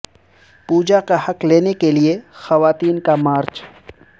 پوجا کا حق لینے کے لیے خواتین کا مارچ